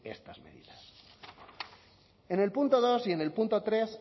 estas medidas en el punto dos y en el punto tres